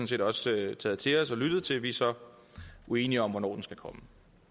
set også taget til os og lyttet til vi er så uenige om hvornår den skal komme